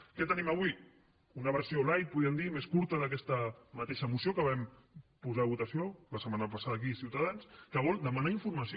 què tenim avui una versió lightcurta d’aquesta mateixa moció que vam posar a votació la setmana passada aquí ciutadans que vol demanar informació